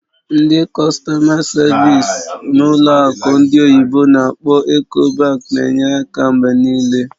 Ndị kọstọ̀ma savịs n'ụlọ akụ ndị oyibo n'akpọ "Ecobank" na-enye aka mgbe niile.